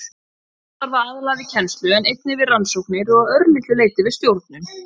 Aðjúnktar starfa aðallega við kennslu en einnig við rannsóknir og að örlitlu leyti við stjórnun.